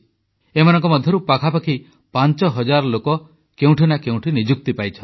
ଏମାନଙ୍କ ମଧ୍ୟରୁ ପାଖାପାଖି ପାଞ୍ଚ ହଜାର ଲୋକ କେଉଁଠି ନା କେଉଁଠି ନିଯୁକ୍ତି ପାଇଛନ୍ତି